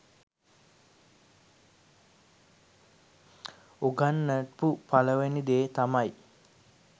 උගන්නපු පළවෙනි දේ තමයි